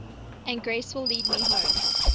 and grace will lead me home